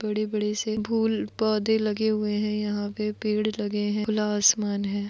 बडे बडे से फुल पौधे लगे हुए है यहाँ पे पेड लगे है खुला आसमान है।